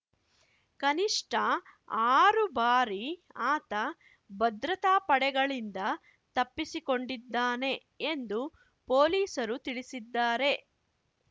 ಕನಿಷ್ಠ ಆರು ಬಾರಿ ಆತ ಭದ್ರತಾ ಪಡೆಗಳಿಂದ ತಪ್ಪಿಸಿಕೊಂಡಿದ್ದಾನೆ ಎಂದು ಪೊಲೀಸರು ತಿಳಿಸಿದ್ದಾರೆ